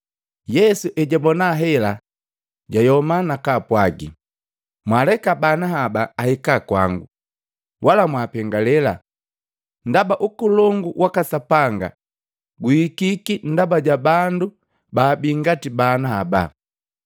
Yesu ejabona hela, jayoma nakaapwagi, “Mwaleka bana haba ahika kwango, wala mwaapengalee, ndaba Ukolongu waka Sapanga guhikiki ndaba ja bandu baabii ngati bana haba.